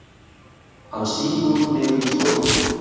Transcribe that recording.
Hann sígur niður í stólinn.